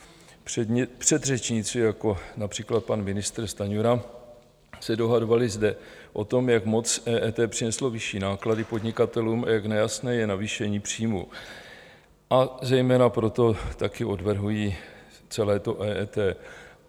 Předřečníci, jako například pan ministr Stanjura, se dohadovali zde o tom, jak moc EET přineslo vyšší náklady podnikatelům a jak nejasné je navýšení příjmů, a zejména proto taky odvrhují celé to EET.